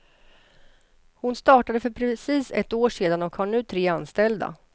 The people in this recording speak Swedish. Hon startade för precis ett år sedan och har nu tre anställda.